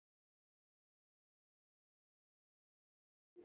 Hvað heita karldýr, kvendýr og afkvæmi panda?